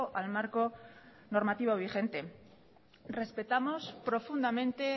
al marco normativo vigente respetamos profundamente